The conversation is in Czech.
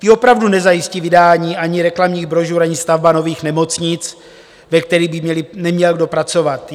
Ty opravdu nezajistí vydání ani reklamních brožur, ani stavba nových nemocnic, ve kterých by neměl kdo pracovat.